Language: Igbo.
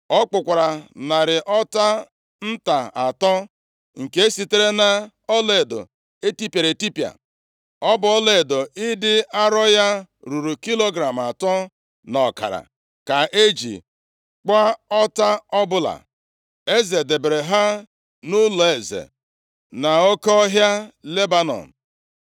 Ọ kpụkwara narị ọta nta atọ, nke sitere na ọlaedo etipịara etipịa. Ọ bụ ọlaedo ịdị arọ ya ruru kilogram atọ na ọkara ka eji kpụọ ọta ọbụla. Eze debere ha nʼụlọeze nʼOke Ọhịa Lebanọn.